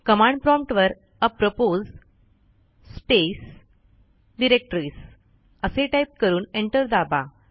command prompt वर apropos space directories असे type करून एंटर दाबा